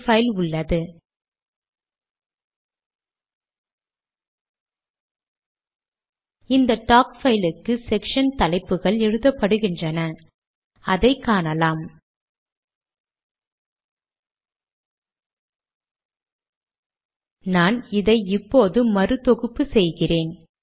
குறித்து வரியின் முடிவுக்கு சென்று அதை நீக்கி சேவ் மற்றும் கம்பைல் செய்கிறேன்